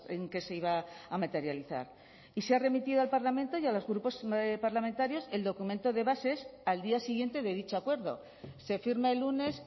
en qué se iba a materializar y se ha remitido al parlamento y a los grupos parlamentarios el documento de bases al día siguiente de dicho acuerdo se firma el lunes